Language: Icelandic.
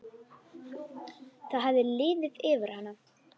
Það hafði liðið yfir hana!